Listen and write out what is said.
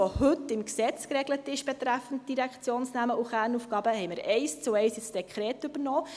Was heute betreffend Direktionsnamen und Kernaufgaben im Gesetz geregelt ist, haben wir eins zu eins ins Dekret übernommen.